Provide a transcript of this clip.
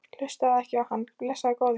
Hlustaðu ekki á hann, blessaður góði.